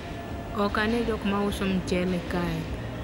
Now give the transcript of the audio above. ok ane jok mauso mchele kae